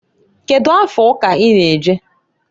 Kedu afa ụka i na- eje?